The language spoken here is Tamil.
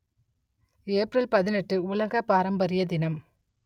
ஏப்ரல் பதினெட்டு உலக பாரம்பரிய தினம்